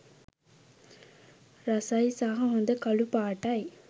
රසයි සහ හොඳ කළුපාටයි.